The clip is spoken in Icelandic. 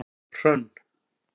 Hrönn